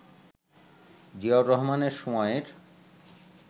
জিয়াউর রহমানের সময়ের